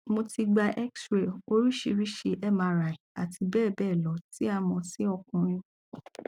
mo ti gba xray orisirisi mri ati bebelo ti a mo si okunrin